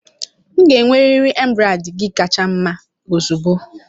M ga-enwerịrị embrade gi kacha mma ozugbo